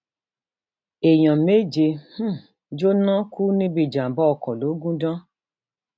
èèyàn méje um jóná kú níbi ìjàmbá ọkọ logundan